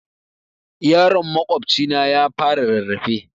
Yaron makwabcina ya fara rarrafe